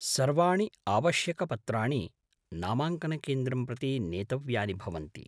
सर्वाणि आवश्यकपत्राणि नामाङ्कनकेन्द्रं प्रति नेतव्यानि भवन्ति।